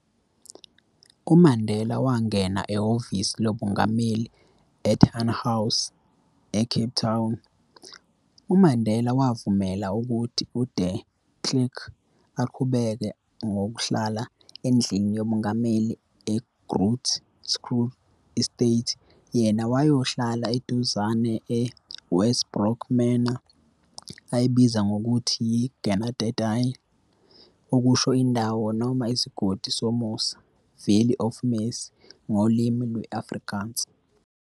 UMandela wangena ehhovisi lobungameli e-Tuynhuys eCape Town, uMandela wavumela ukuthi uDe Klerk aqhubeke nokuhlala endlini yobungameli e-Groote Schuur estate, yena wayohlala eduzane e-Westbrooke manor, ayibiza ngokuthi yi-"Genadendal", okusho indawo noma isigodi somusa, "Valley of Mercy", ngolimi lwe-Afrikaans.